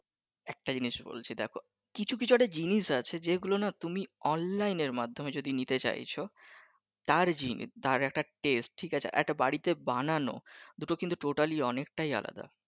একটা জিনিস বলছি দেখো, কিছু কিছু একটা জিনিস আছে যেগুলো নাহ তুমি অনলাইনের মাধ্যমে তুমি নিতে চাইছো তার জিন তার একটা test ঠিক আছে একটা বাড়িতে বানানো দুটো কিন্তু totally অনেকটাই আলাদা